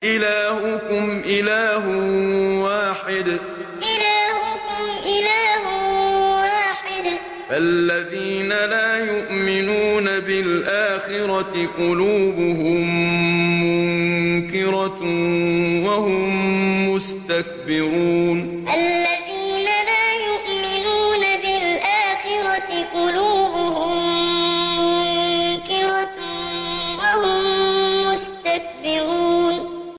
إِلَٰهُكُمْ إِلَٰهٌ وَاحِدٌ ۚ فَالَّذِينَ لَا يُؤْمِنُونَ بِالْآخِرَةِ قُلُوبُهُم مُّنكِرَةٌ وَهُم مُّسْتَكْبِرُونَ إِلَٰهُكُمْ إِلَٰهٌ وَاحِدٌ ۚ فَالَّذِينَ لَا يُؤْمِنُونَ بِالْآخِرَةِ قُلُوبُهُم مُّنكِرَةٌ وَهُم مُّسْتَكْبِرُونَ